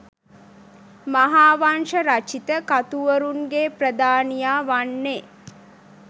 මහාවංශ රචිත කතුවරුන්ගේ ප්‍රධානියා වන්නේ